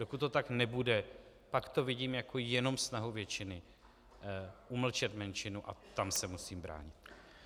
Dokud to tak nebude, pak to vidím jenom jako snahu většiny umlčet menšinu, a tam se musím bránit.